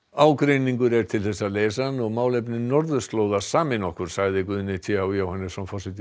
ágreiningur er til þess að leysa hann og málefni norðurslóða sameina okkur sagði Guðni t h Jóhannesson forseti